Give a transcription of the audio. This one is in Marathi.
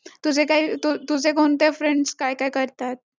April ची Last तारीख म्हणजे April ending आला परत